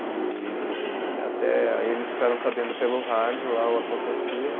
E e até eles ficaram sabendo pelo rádio lá o acontecido.